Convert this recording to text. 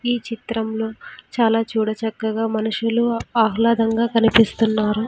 ఈ చిత్రంలో చాలా చూడ చక్కగా మనుషులు ఆహ్లాదంగా కనిపిస్తున్నారు.